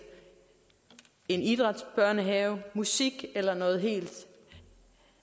en idrætsbørnehave fokus musik eller noget helt